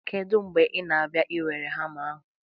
Kedu mgbe ị na-abịa iwere hama ahụ?